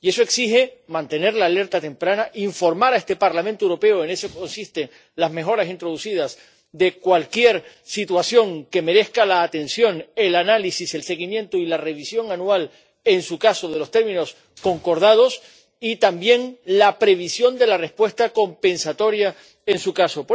Y eso exige mantener la alerta temprana, informar a este Parlamento Europeo ―en eso consisten las mejoras introducidas― de cualquier situación que merezca la atención, el análisis, el seguimiento y la revisión anual, en su caso, de los términos concordados y, también, la previsión de la respuesta compensatoria, en su caso.